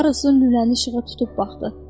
Karlson lüləni işığa tutub baxdı.